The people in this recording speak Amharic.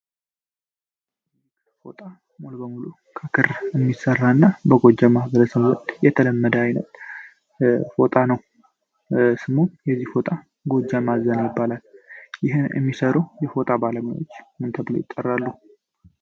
ኒክ ፎጣ ሞል በሙሎ ከክር የሚሠራ እና በጎጀ ማህብረስንወድ የተለመደ አይነት ፎጣ ነው ስሞም የዚህ ፎጣ ጎጀ ማዘና ይባላል ይህን የሚሠረው የፎጣ ባለማዎች ምንተብሎ ይጠራሉ